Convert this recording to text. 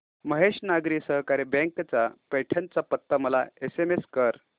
Mahesh Nagari Sahakari bank चा पैठण चा पत्ता मला एसएमएस कर